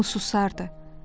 Hamı susardı.